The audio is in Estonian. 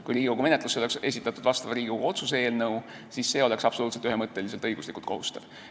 Kui Riigikogu menetlusse oleks esitatud Riigikogu otsuse eelnõu, siis see oleks absoluutselt ühemõtteliselt õiguslikult kohustav.